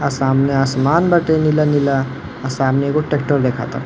आ सामने आसमान बाटे नीला नीला। आ सामने एगो ट्रैक्टर दिखता।